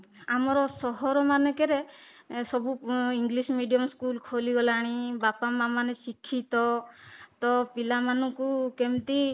ଆମର ସହର ମାନଙ୍କରେ ସବୁ English medium ସ୍କୁଲ ଖୋଲିଗଲାଣି ବାପା ମା ମାନେ ଶିକ୍ଷିତ ତ ପିଲାମାନଙ୍କୁ କେମିତି